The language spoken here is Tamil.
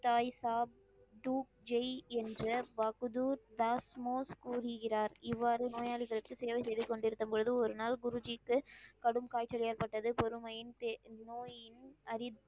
தாய் சாப் தூப் ஜெய் என்ற பகதூர் தஸ்மோஸ் கூறுகிறார். இவ்வாறு நோயாளிகளுக்கு சேவை செய்து கொண்டிருந்த பொழுது, ஒரு நாள் குருஜிக்கு கடும் காய்ச்சல் ஏற்ப்பட்டது. பொறுமையின் தே நோயின் அறி